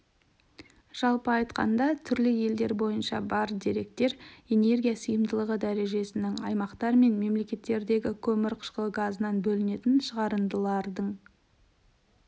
жалпы айтқанда түрлі елдер бойынша бар деректер энергия сиымдылығы дәрежесінің аймақтар мен мемлекеттердегі көмір қышқыл газынан бөлінетін шығарындылардың